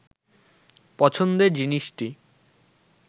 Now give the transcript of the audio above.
পছন্দের জিনিসটি